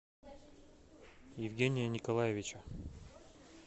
евгения николаевича